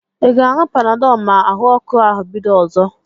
I ga-aṅụ Panadọl ma ahụọku ahụ bido ọzọ?